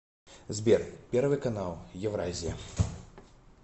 сбер первый канал евразия